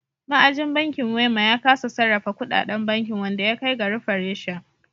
Ma'ajin bankin Wema ya kasa sarrafa kudaden bankin wanda ya kai ga rufe reshen.